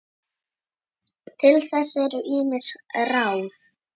Til þess eru ýmis ráð.